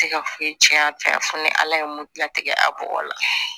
Tɛ ka foyi tiɲɛ a fɛ ni ala ye mun dilan tɛ a bɔgɔ la